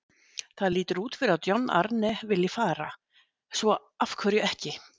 Það lítur út fyrir að John Arne vilji fara, svo af hverju ekki?